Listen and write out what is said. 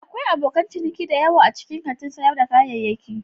Akwai abokan ciniki da yawa a cikin kantin sayar da kayayyaki.